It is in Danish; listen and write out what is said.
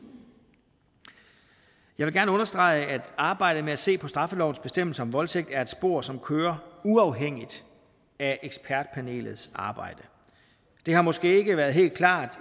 jeg vil gerne understrege at arbejdet med at se på straffelovens bestemmelse om voldtægt er et spor som kører uafhængigt af ekspertpanelets arbejde det har måske ikke være helt klart